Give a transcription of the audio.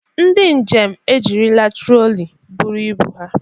Ndị njem ejirila troli buru ibu ha.